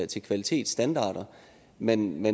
til kvalitetsstandarder men